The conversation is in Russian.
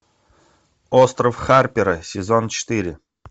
остров харпера сезон четыре